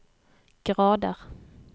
grader